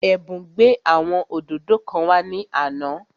Ẹ̀bùn gbé àwọn òdòdó kan wá ní àná